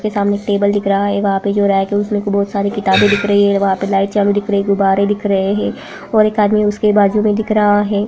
जिसके सामने एक टेबल दिख रहा है वहां पर जो रेक है उसमें बहुत सारी किताबें दिख रही है वहां पे दिख रहे हैं गुब्बारे दिख रहे हैं और एक आदमी उसके बाजू में दिख रहा है।